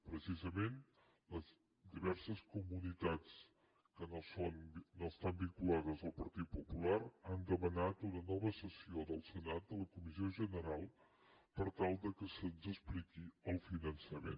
precisament les diverses comunitats que no estan vinculades al partit popular han demanat una nova sessió del senat de la comissió general per tal que se’ns expliqui el finançament